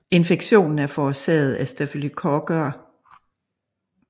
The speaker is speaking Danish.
Infektionen er forårsaget af staphylococcus aureus